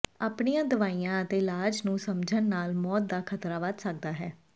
ਆਪਣੀਆਂ ਦਵਾਈਆਂ ਅਤੇ ਇਲਾਜਾਂ ਨੂੰ ਸਮਝਣ ਨਾਲ ਮੌਤ ਦਾ ਖ਼ਤਰਾ ਵਧ ਸਕਦਾ ਹੈ